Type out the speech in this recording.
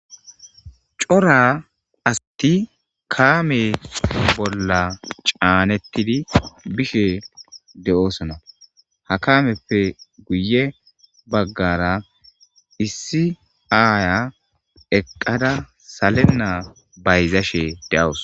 Cora asti kaame bolla caanettidi bishe de'oosona ha kameppe guye baggara issi aaya eqqada salenna bayzashe de'awos